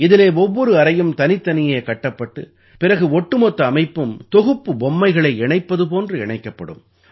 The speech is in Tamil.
இதிலே ஒவ்வொரு அறையும் தனித்தனியே கட்டப்பட்டு பிறகு ஒட்டுமொத்த அமைப்பும் தொகுப்பு பொம்மைகளை இணைப்பது போன்று இணைக்கப்படும்